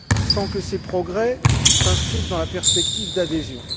sans que ces progrès s'inscrivent dans la perspective d'adhésion.